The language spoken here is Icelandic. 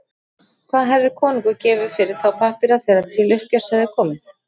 Hvað hefði konungur gefið fyrir þá pappíra þegar til uppgjörs hefði komið?